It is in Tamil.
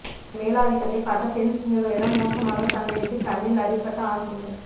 தன் மேலாதிக்கத்தை காட்ட பெண் சிங்கங்களிடம் மோசமாக சண்டையிட்டு கண்ணில் அடிப்பட்ட ஆண் சிங்கம்